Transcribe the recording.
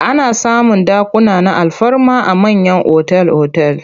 Ana samun dakuna na alfarma a mayan otal-otal.